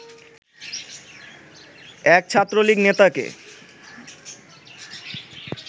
এক ছাত্রলীগ নেতাকে